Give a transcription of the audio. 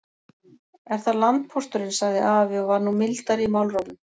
Er það landpósturinn, sagði afi og var nú mildari í málrómnum.